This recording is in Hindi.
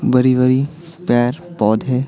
बरी वरी पैर - पौधे--